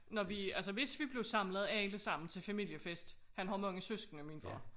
Når vi altså hvis vi blev samlet allesammen til familiefest han har mange søskende min far